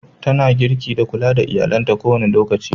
Tana girki da kulla da iyallinta ko da wane lokaci.